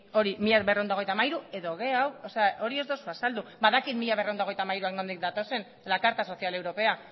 y mila berrehun eta hogeita hamairu edo gehiago hori ez duzu azaldu badakit mila berrehun eta hogeita hamairuak nondik datozen de la carta social europea